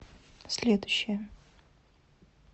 следующая